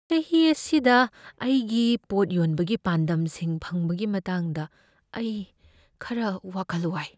ꯆꯍꯤ ꯑꯁꯤꯗ ꯑꯩꯒꯤ ꯄꯣꯠ ꯌꯣꯟꯕꯒꯤ ꯄꯥꯟꯗꯝꯁꯤꯡ ꯐꯪꯕꯒꯤ ꯃꯇꯥꯡꯗ ꯑꯩ ꯈꯔ ꯋꯥꯈꯜ ꯋꯥꯏ꯫